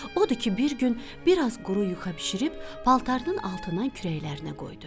Odur ki, bir gün biraz quru yuxa bişirib paltarının altından kürəklərinə qoydu.